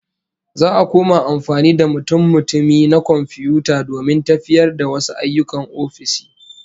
Za'a koma amfani da mutummutumai na komfiyuta domin tafiyar da wasu ayyukan ofisoshi